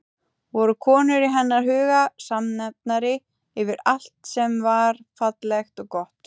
Voru konur í hennar huga samnefnari yfir allt sem var fallegt og gott?